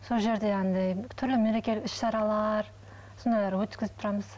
сол жерде андай түрлі мерекелік іс шаралар сондайлар өткізіп тұрамыз